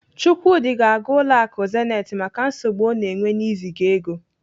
Chukwudi ga-aga ụlọ akụ Zenith maka nsogbu ọ na-enwe n'iziga ego.